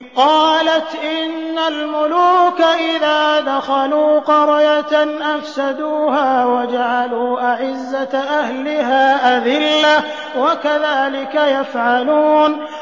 قَالَتْ إِنَّ الْمُلُوكَ إِذَا دَخَلُوا قَرْيَةً أَفْسَدُوهَا وَجَعَلُوا أَعِزَّةَ أَهْلِهَا أَذِلَّةً ۖ وَكَذَٰلِكَ يَفْعَلُونَ